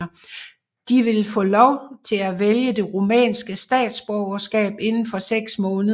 De vil få lov til at vælge det rumænske statsborgerskab inden for 6 måneder